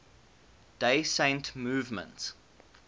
day saint movement